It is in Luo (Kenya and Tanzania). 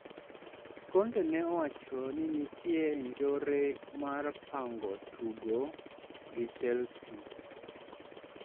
Conte ne owacho ni nitie njore mar pango tugo gi Chelsea